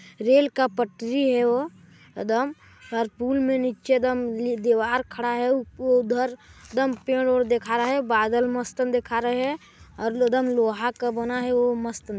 rail का पटरी हैव एदम पर पूल में नीचे एदम दीवार खड़ा हो उधर एदम पेड़ ओड़ देखा रहा है बादल मस्त अन देखा रहे है और लोहा का बना है वो मस्त --